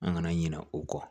An kana ɲinɛ o kɔ